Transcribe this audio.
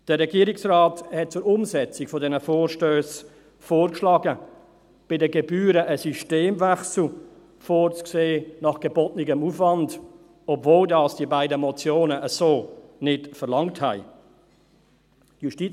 Der Regierungsrat schlug zur Umsetzung dieser Vorstösse vor, bei den Gebühren einen Systemwechsel nach gebotenem Aufwand vorzusehen, obwohl die beiden Motionen dies so nicht verlangt hatten.